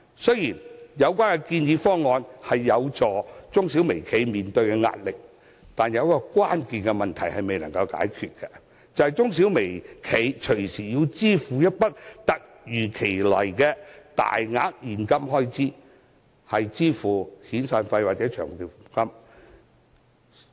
雖然有關建議方案有助減低中小微企的壓力，但仍有一個關鍵問題未能解決，便是中小微企動輒要支付一筆突如其來的大額現金開支，用作支付遣散費或長期服務金。